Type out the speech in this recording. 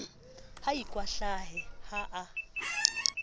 ha a ikwahlahe ha a